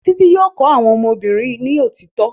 Títí yóò kọ́ àwọn ọmọ obìnrin ni òtítọ́